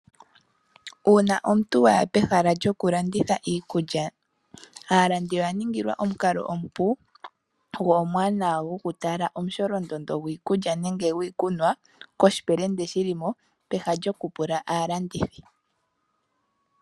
Uuna omuntu wa ya pehala lyoku landitha iikulya, aalandi oya niningilwa omukalo omupu go omuwanawa goku tala omusholondondo gwiikulya nenge gwiikunwa koshipelende shi li mo, peha lyoku pula aalandithi.